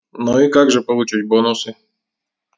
ну и как же получить бонусы